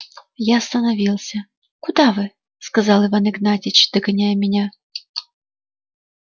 я остановился куда вы сказал иван игнатьич догоняя меня